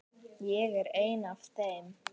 Ég er ein af þeim.